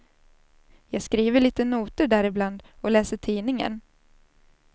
Jag skriver lite noter där ibland, och läser tidningen.